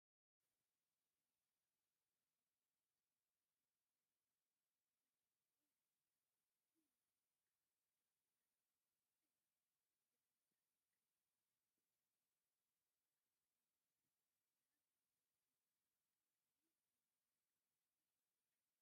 ምስጢራዊ! ንቑልቁል ዝወስድ ጸቢብ መሕለፊ እምኒ ወይ መደያይቦ የርኢ። እቲ መናድቕ ካብ ተፈጥሮኣዊ ኣእማን ዝተሰርሐ እዩ። ብርሃን ጸሓይ ካብቲ ኣብ ላዕሊ ዘሎ ክፉት ቦታ ስለ ዝኣቱ፡ እቲ ቦታ ጥንታዊ ወይ ታሪኻዊ ምዃኑ ይሕብር።